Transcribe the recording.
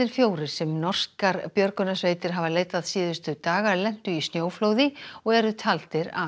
fjórir sem norskar björgunarsveitir hafa leitað síðustu daga lentu í snjóflóði og eru taldir af